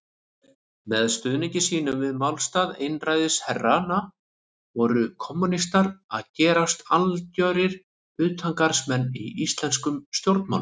Með stuðningi sínum við málstað einræðisherranna voru kommúnistar að gerast algjörir utangarðsmenn í íslenskum stjórnmálum.